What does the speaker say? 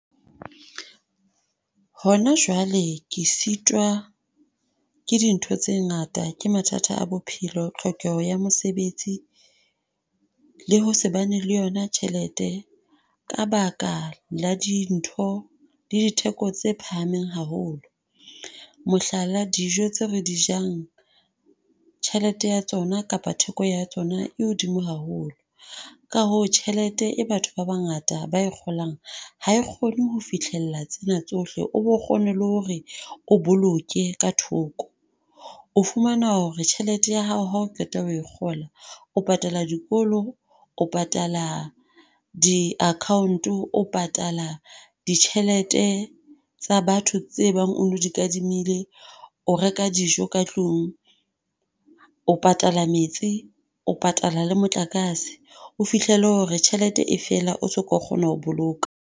Hona jwale ke sitwa ke dintho tse ngata ke mathata a bophelo, tlhokeho ya mosebetsi, le ho shebane le yona tjhelete, ka baka la dintho di ditheko tse phahameng haholo, mohlala dijo tseo re di jang, tjhelete ya tsona kapa theko ya tsona e hodimo haholo, ka hoo tjhelete e batho ba bangata ba kgolang, ha e kgone ho fihlella tsena tsohle, o bo kgone le hore o boloke ka thoko, o fumana hore tjhelete ya hao ha o qeta ho e kgola, o patala dikolo, o patala diakhaonto, o patala ditjhelete tsa batho tse bang o no di kadimile, o reka dijo ka tlung, o patala metsi, o patala le motlakase, o fihlele hore tjhelete e fela o se ka kgona ho boloka.